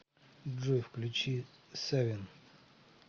джой включи савин